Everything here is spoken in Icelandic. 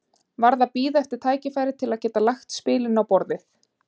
Varð að bíða eftir tækifæri til að geta lagt spilin á borðið.